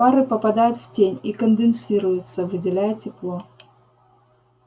пары попадают в тень и конденсируются выделяя тепло